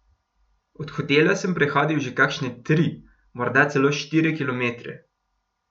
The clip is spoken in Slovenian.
Od hotela sem prehodil že kakšne tri, morda celo štiri kilometre.